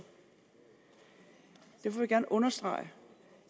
derfor vil jeg gerne understrege